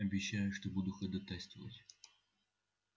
обещаю что буду ходатайствовать